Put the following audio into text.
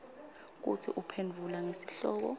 kutsi uphendvula ngesihloko